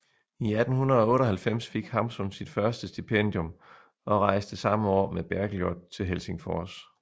I 1898 fik Hamsun sit første stipendium og rejste samme år med Bergljot til Helsingfors